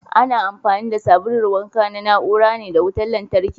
Ana amfani da sabulun wanka na na ura ne da wutar lantarki.